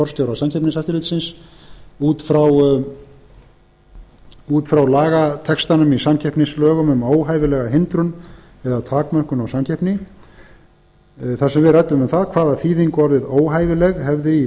forstjóra samkeppniseftirlitsins út frá lagatextanum í samkeppnislögum um óhæfilega hindrun eða takmörkun á samkeppni þar sem við ræddum um það hvaða þýðingu orðið óhæfileg hefði í